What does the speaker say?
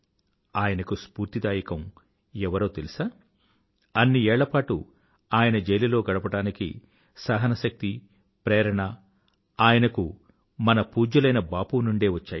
ఆయనకు స్ఫూర్తిదాయకం ఎవరో తెలుసా అన్ని ఏళ్ల పాటు ఆయన జైలులో గడపడానికి సహన శక్తి ప్రేరణ ఆయనకు మన పూజ్యులైన బాపూ నుండే వచ్చాయి